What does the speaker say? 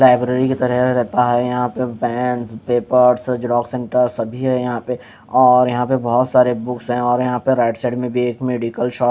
library के तरफ रेता है यहाँ पे बेंच पेपर सभी है यहाँ पे और यहाँ पे बोहोत सारी बुक्स है और यहाँ पे राईट साइड में भी एक मेडिकल शॉप --